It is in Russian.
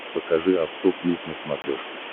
покажи авто плюс на смотрешке